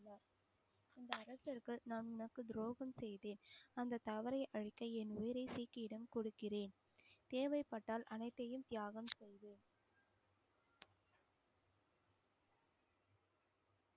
இந்த அரசர்கள் நான் உனக்கு துரோகம் செய்தேன். அந்த தவறை அழிக்க என் கொடுக்கிறேன். தேவைப்பட்டால் அனைத்தையும் தியாகம் செய்வேன்.